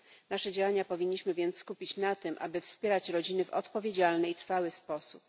Nasze działania powinniśmy więc skupić na tym, aby wspierać rodziny w odpowiedzialny i trwały sposób.